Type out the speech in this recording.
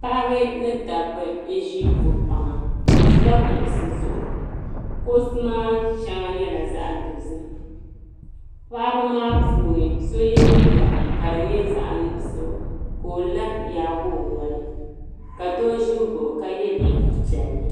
Paɣiba ni dabaa n-ʒi ko' kpaŋa. Bɛ ʒila kuɣisi zuɣu. Kuɣisi maa shɛŋa nyɛla zaɣ' dozim. Paɣiba maa puuni so ye liiga ka di nyɛ zaɣ' nuɣiso ka o la n-yaagi o noli ka doo ʒi m-baɣi o ka ye liiga piɛlli.